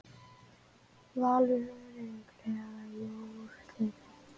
Valur örugglega í úrslitin